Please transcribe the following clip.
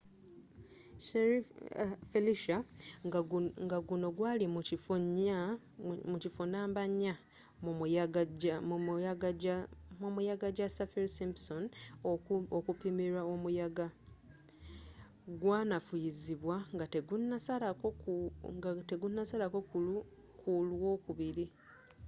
felicia ngaguno gwali mu kifo 4 mumuyaga ja saffir-simpson okupimirwa omuyaga gwanafuyizibwa ngategunasalako ku lwokubiri